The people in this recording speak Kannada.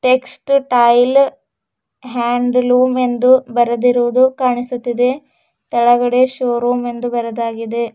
ಟೆಟ್ಸೈಲ್ ಹ್ಯಾಂಡ್ ಲೂಮ್ ಎಂದು ಬರೆದಿರುವುದು ಕಾಣಿಸುತ್ತಿದೆ ತಳಗಡೆ ಶೋ ರೂಮ್ ಎಂದು ಬರೆದಾಗಿದೆ.